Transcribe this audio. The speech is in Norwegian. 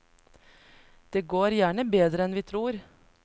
Det går gjerne bedre enn vi tror.